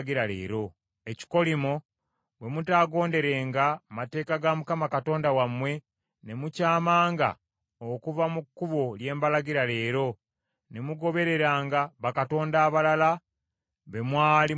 ekikolimo, bwe mutaagonderenga mateeka ga Mukama Katonda wammwe, ne mukyamanga okuva mu kkubo lye mbalagira leero, ne mugobereranga bakatonda abalala be mwali mutamanyi.